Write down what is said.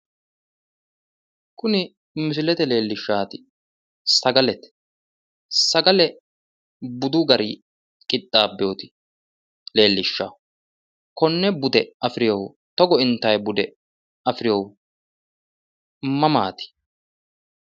Kuni misilete leellishaati sagalete sagale budu garinni qixxaabinoti konne bude afirinnohu togo intanni bude afirinnohu mamaati?